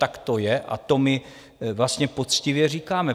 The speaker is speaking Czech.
Tak to je, a to my vlastně poctivě říkáme.